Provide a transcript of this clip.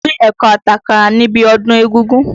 Pín ẹ̀kọ àti àkàrà níbi ọdún égúngún!